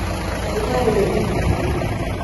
Ndagĩtarĩ ũyũ nĩ mũkuhĩ